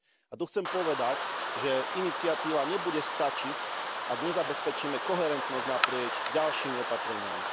A tu chcem povedať, že iniciatíva nebude stačiť, ak nezabezpečíme koherentnosť naprieč ďalšími opatreniami.